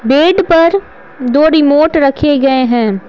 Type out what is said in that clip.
Date पर दो remote रखे गए हैं।